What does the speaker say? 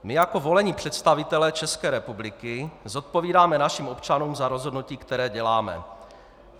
My jako volení představitelé České republiky zodpovídáme našim občanům za rozhodnutí, které děláme.